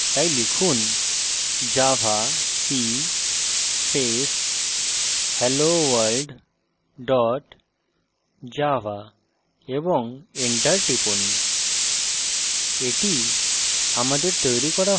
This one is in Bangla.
file compile করি তাই লিখুন javac space helloworld dot java এবং enter টিপুন